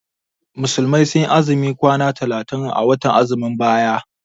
Musulmai sun yi azumi kwana talatin a watan azumin bara.